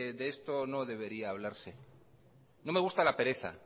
de esto no debería hablarse no me gusta la pereza